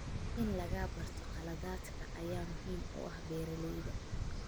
In laga barto khaladaadka ayaa muhiim u ah beeralayda.